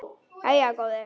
Jæja góði.